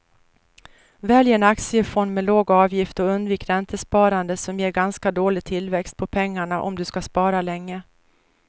Välj en aktiefond med låg avgift och undvik räntesparande som ger ganska dålig tillväxt på pengarna om du ska spara länge.